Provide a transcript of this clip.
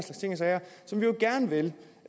sager som vi jo gerne vil